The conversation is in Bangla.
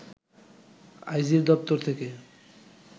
আইজির দপ্তর থেকে